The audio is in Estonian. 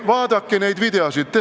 Vaadake neid videoid.